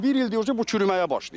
Bir ildir bu çürüməyə başlayıb.